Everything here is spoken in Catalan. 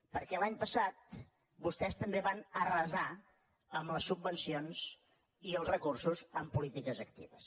perquè l’any passat vostès també van arrasar amb les subvencions i els recursos en polítiques actives